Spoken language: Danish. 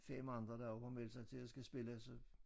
5 andre der også har meldt sig til at skal spille så